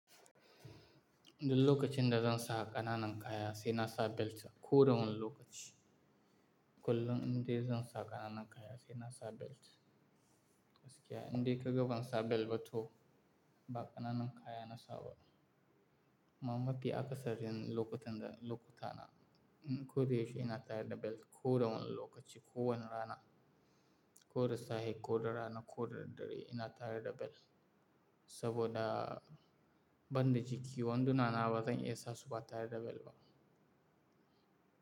Duk lokacin da zan sa ƙananan kaya sai na sa belt. Ko da wane lokaci, kullum inda zan sa ƙananan kaya sai na sa belt. Gaskiya indai ka ga ban sa bel ba to ba ƙananan kaya na sa ba. Amma mafi akasarin lokutan da, lokutana. Ko da yaushe ina tare da bel, ko da wane lokaci, ko wane rana, ko da safe, ko da rana, ko da daddare ina tare da bel. Saboda banda jiki wanduna na bazan isa su ba tare da bel ba.